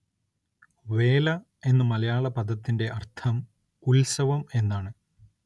വേല എന്ന മലയാള പദത്തിന്റെ അര്‍ത്ഥം ഉത്സവം എന്നാണ്